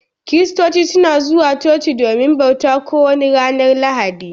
Kiristoci suna zuwa chochi domin bauta, ko wani ranar lahadi.